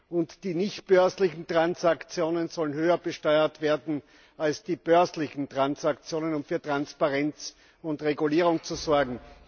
und die nichtbörslichen Transaktionen sollen höher besteuert werden als die börslichen Transaktionen, um für Transparenz und Regulierung zu sorgen.